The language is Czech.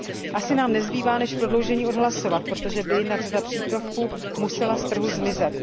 Asi nám nezbývá, než prodloužení odhlasovat, protože by jinak řada přípravků musela z trhu zmizet.